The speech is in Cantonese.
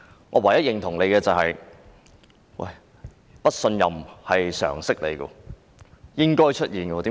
我唯一認同他的一點是不信任是常識，亦是應該出現的事。